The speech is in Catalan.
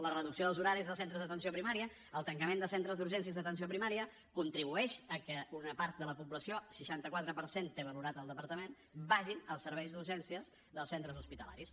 la reducció dels horaris dels centres d’atenció primària el tancament de centres d’urgències d’atenció primària contribueix a que una part de la població seixanta quatre per cent té valorat el departament vagin als serveis d’urgència dels centres hospitalaris